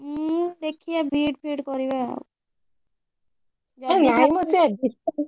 ମୁଁ ଦେଖିବା B.Ed ଫିଇଡ କରିବା ଆଉ ଯଦି ଆରେ ନାଇମ ସେ